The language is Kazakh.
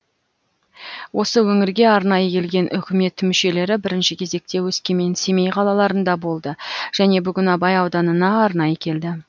осы өңірге арнайы келген үкімет мүшелері бірінші кезекте өскемен семей қалаларында болды және бүгін абай ауданына арнайы келді